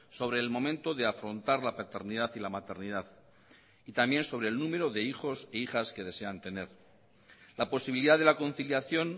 sobre el momento de afrontar la paternidad y la maternidad y también sobre el número de hijos e hijas que desean tener la posibilidad de la conciliación